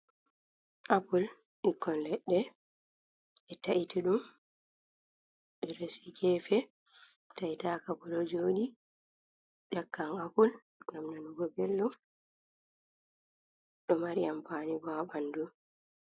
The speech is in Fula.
Appul ɓikkon leɗɗe ɓe ta’iti ɗum ɓeresi gefe taitaka bo ɗo jodi ƴakkai appul gam nanugo belɗum ɗo mari ampani bo ɓandu